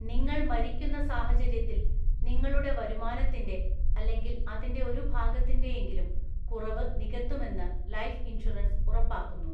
നിങ്ങൾ മരിക്കുന്ന സാഹചര്യത്തിൽ നിങ്ങളുടെ വരുമാനത്തിന്റെ (അല്ലെങ്കിൽ അതിന്റെ ഒരു ഭാഗത്തിന്റെയെങ്കിലും) കുറവ് നികത്തുമെന്ന് ലൈഫ് ഇൻഷുറൻസ് ഉറപ്പാക്കുന്നു.